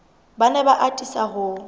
ba ne ba atisa ho